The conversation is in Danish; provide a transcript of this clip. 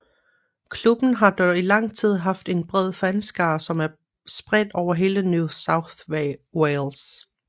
Klubben har dog i lang tid haft en bred fanskare som er spredt over hele New South Wales